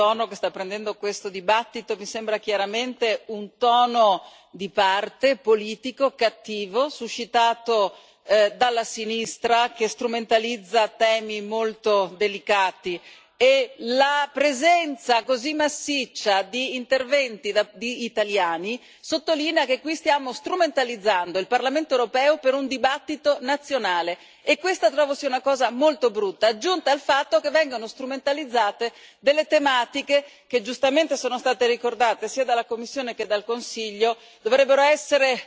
Il tono che sta prendendo questo dibattito mi sembra chiaramente un tono di parte, politico, cattivo, suscitato dalla sinistra, che strumentalizza temi molto delicati e la presenza così massiccia di interventi di italiani sottolinea che qui stiamo strumentalizzando il Parlamento europeo per un dibattito nazionale e questa, trovo, sia una cosa molto brutta, oltre al fatto che vengano strumentalizzate delle tematiche che, giustamente, sono state ricordate sia dalla Commissione che dal Consiglio e che dovrebbero essere,